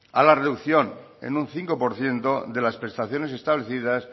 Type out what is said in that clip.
a la reducción en un cinco por ciento de las prestaciones establecidas